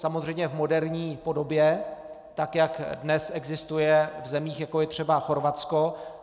Samozřejmě v moderní podobě, tak jak dnes existuje v zemích, jako je třeba Chorvatsko.